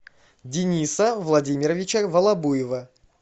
дениса владимировича волобуева